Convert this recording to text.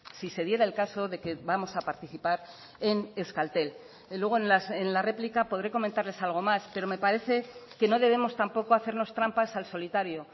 si se diera el caso de que vamos a participar en euskaltel luego en la réplica podré comentarles algo más pero me parece que no debemos tampoco hacernos trampas al solitario